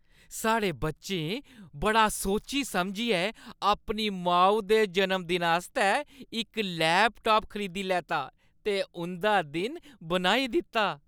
साढ़े बच्चें बड़ा सोची-समझियै अपनी माऊ दे जन्मदिन आस्तै इक लैपटाप खरीदी लैता ते उंʼदा दिन बनाई दित्ता।